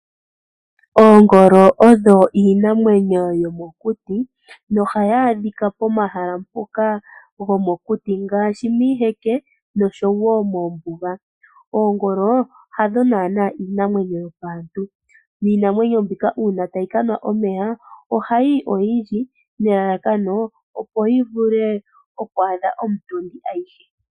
Oongolo odho iinamwenyo yomokuti nohayi adhika pomahala gomokuti ngaashi miiheke noshowo moombuga. Oongolo hadho naanaa iinamwenyo yopaantu niinamwenyo mbika uuna tayi kanwa omeya ohayi yi oyindji nelalakano lyoku igamena komutondi ayihe, uuna e yi ponokele.